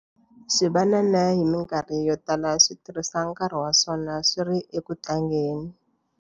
Swivanana hi mikarhi yo tala swi tirhisa nkarhi wa swona swi ri eku tlangeni.